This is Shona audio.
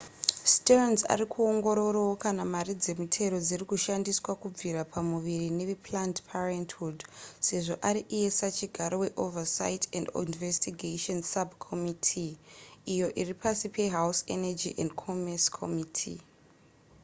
stearns ari kuongororawo kana mari dzemitero dziri kushandiswa kubvisa pamuviri neveplanned parenthood sezvo ari iye sachigaro weoversight and investigations subcommitttee iyo iri pasi pehouse energy and commerce committee